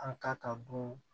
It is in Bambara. An ka ka dun